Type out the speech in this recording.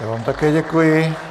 Já vám také děkuji.